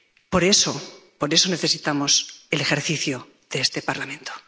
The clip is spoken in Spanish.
Por eso necesitamos el ejercicio de este Parlamento.